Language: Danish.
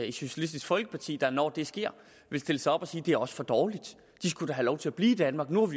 i socialistisk folkeparti der når det sker vil stille sig op og sige det er også for dårligt de skulle da have lov til at blive i danmark nu